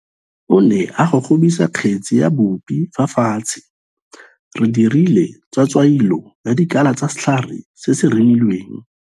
O ne a gogobisa kgetsi ya bupi fa fatshe. Re dirile tswatswailô ya dikala tsa setlhare se se remilweng.